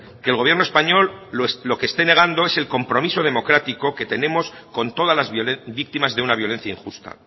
que el gobierno español lo que esté negando es el compromiso democrático que tenemos con todas las víctimas de una violencia injusta